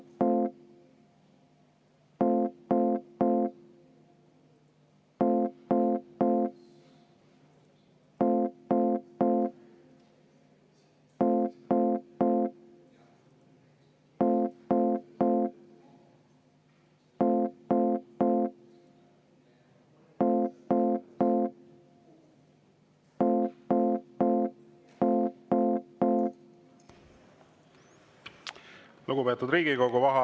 Lugupeetud Riigikogu!